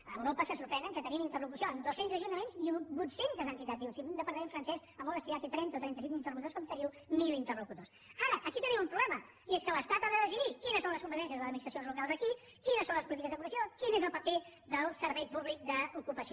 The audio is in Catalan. a europa se sorprenen que tenim interlocució amb dos cents ajuntaments i vuit centes entitats diuen si un departament francès a molt estirar té trenta o trenta cinc interlocutors com teniu mil interlocutors ara aquí tenim un problema i és que l’estat ha de definir quines són les competències de les administracions locals aquí quines són les polítiques d’ocupació quin és el paper del servei públic d’ocupació